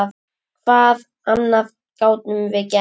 Hvað annað gátum við gert?